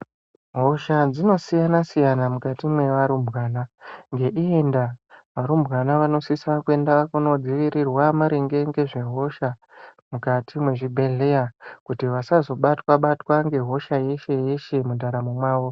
Hosha dzinosiyana siyana mukati mwearumbwana ngeiyi ndaa arumbwana vanosisa kuenda kundodziirira maringe ngezvehosha mukati mwezvibhedhleya kuti vasazobatwa batwa ngehosha yeshe yeshe mundaramo mwao.